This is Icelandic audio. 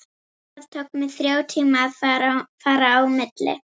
Það tók mig þrjá tíma að fara á milli.